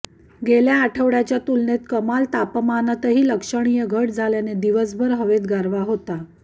गेल्या आठवड्याच्या तुलनेत कमाल तापमानातही लक्षणीय घट झाल्याने दिवसभर हवेत गारवा होता